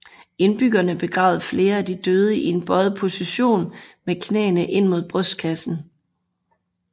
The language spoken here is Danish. Indbyggerne begravede flere af de døde i en bøjet position med knæene ind mod brystkassen